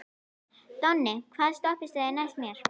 Donni, hvaða stoppistöð er næst mér?